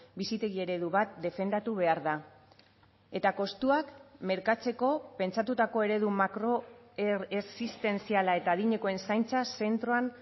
bizitegi eredu bat defendatu behar da eta kostuak merkatzeko pentsatutako eredu makro existentziala eta adinekoen zaintza zentroan